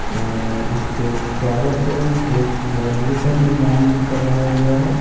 और इसके चारों तरफ एक बाउंड्री का निर्मान भी करवाया गया है।